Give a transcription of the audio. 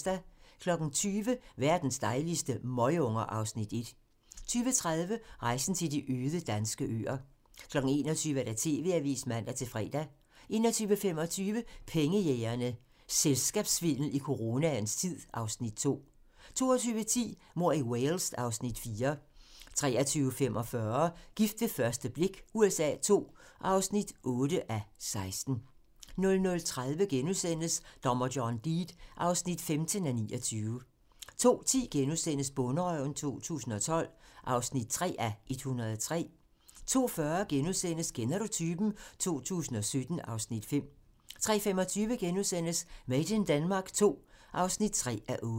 20:00: Verdens dejligste møgunger (Afs. 1) 20:30: Rejsen til de øde danske øer 21:00: TV-avisen (man-fre) 21:25: Pengejægerne - Selskabssvindel i coronaens tid (Afs. 2) 22:10: Mord i Wales (Afs. 4) 23:45: Gift ved første blik USA II (8:16) 00:30: Dommer John Deed (15:29)* 02:10: Bonderøven 2012 (3:103)* 02:40: Kender du typen? 2017 (Afs. 5)* 03:25: Made in Denmark II (3:8)*